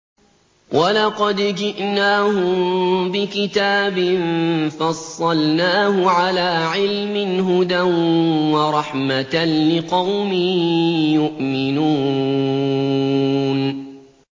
وَلَقَدْ جِئْنَاهُم بِكِتَابٍ فَصَّلْنَاهُ عَلَىٰ عِلْمٍ هُدًى وَرَحْمَةً لِّقَوْمٍ يُؤْمِنُونَ